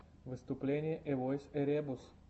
выступление эвойс эребус